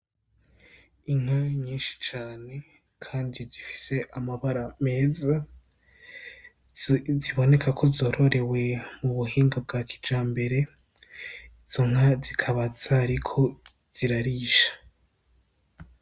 Inka nyinshi cane kandi zifise amabara meza, zibonekako zororewe mubuhinga bwa kijambere .Izonka zikaba zariko zirarisha.